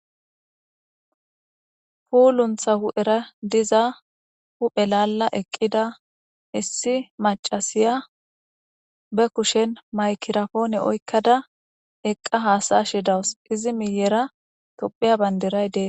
Puuluntha hu'era diza hu'elalla eqqida issi macasiya be kushen maykirafoone oykkada eqqa haasay shi dawus izi miyera topheya banderay dees.